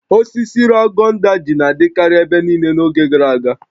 Osisi Ragon Daji na-adịkarị ebe niile n'oge gara aga